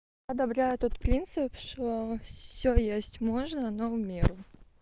одобряю тот принцип что всё есть можно но в меру